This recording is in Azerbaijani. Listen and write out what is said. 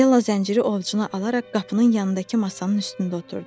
Della zənciri ovucuna alaraq qapının yanındakı masanın üstündə oturdu.